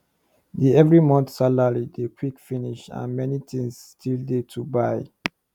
the every month salary dey quick finish and many things still dey to buy